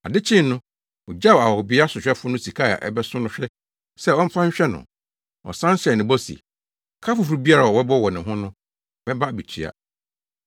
Ade kyee no ogyaw ahɔhobea sohwɛfo no sika a ɛbɛso no hwɛ sɛ ɔmfa nhwɛ no. Ɔsan hyɛɛ no bɔ se, ‘Ka foforo biara a wobɛbɔ wɔ ne ho no, mɛba abetua.’